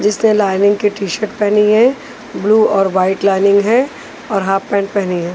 जिसने लाइनिंग की T shirt पहनी है ब्लू और वाइट लाइनिंग है और हाफ पैंट पहनी है।